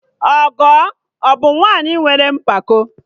Ọgọ abụ nwaanyị nwere mpako?